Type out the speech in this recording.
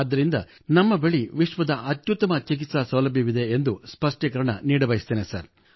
ಆದ್ದರಿಂದಲೇ ನಮ್ಮ ಬಳಿ ವಿಶ್ವದ ಅತ್ಯುತ್ತಮ ಚಿಕಿತ್ಸಾ ಸೌಲಭ್ಯವಿದೆ ಎಂದು ಸ್ಪಷ್ಟೀಕರಣೆ ನೀಡಬಯಸುತ್ತೇನೆ ಸರ್